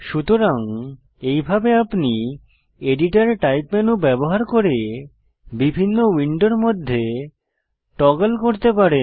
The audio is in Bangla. সুতরাং এইভাবে আপনি এডিটর টাইপ মেনু ব্যবহার করে বিভিন্ন উইন্ডোর মধ্যে টগল করতে পারেন